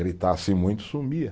Gritasse muito, sumia.